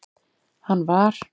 hann var.